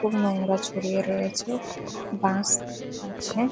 খুব নোংরা ছড়িয়ে রয়েছে। বাঁশ আছে।